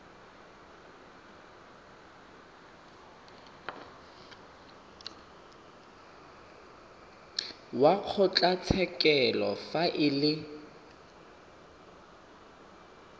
wa kgotlatshekelo fa e le